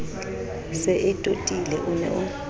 se e totile o ne